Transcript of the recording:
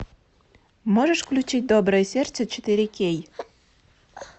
можешь включить доброе сердце четыре кей